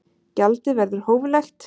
Gjaldið verður hóflegt